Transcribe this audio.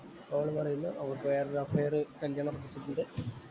അവള് പറയുന്നു അവള്‍ക്കു വേറെ ഒരു അഫയർ കല്യാണം ഉണ്ട്.